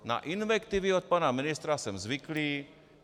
Na invektivy od pana ministra jsem zvyklý.